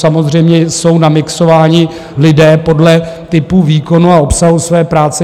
Samozřejmě jsou namixováni lidé podle typu výkonu a obsahu své práce.